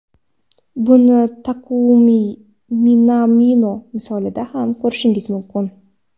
Buni Takumi Minamino misolida ham ko‘rishingiz mumkin.